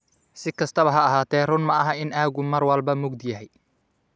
Si kastaba ha ahaatee, run maaha in aaggu mar walba mugdi yahay.